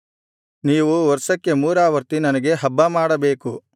ನೀವು ವರ್ಷಕ್ಕೆ ಮೂರಾವರ್ತಿ ನನಗೆ ಹಬ್ಬಮಾಡಬೇಕು